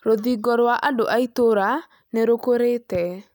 Rũthingo rwa andũ a itũũra nĩ rũkurete